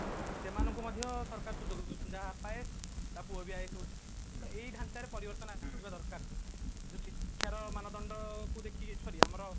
ସେମାନକୁ ମଧ୍ୟ ସରକାର ସୁଯୋଗ ଦଉଛନ୍ତି ତା ବାପା IAS ତା ପୁଅ ବି IAS ହଉଛି ଏଇ ଢାଞ୍ଚାରେ ପରିବର୍ତନ ଆସିବା ଦରକାର ଯୋଉ ଶିକ୍ଷାର ମାନଦଣ୍ଡ କୁ ଦେଖିକି sorry ଆମର